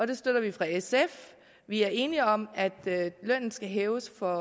det støtter vi fra sf vi er enige om at lønnen skal hæves for